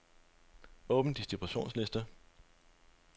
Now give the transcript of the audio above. Åbn distributionsliste.